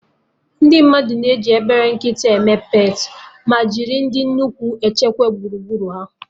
Ndị mmadụ na-eji obele nkịta eme peetị, ma jiri ndị nnukwu echekwa gburugburu ha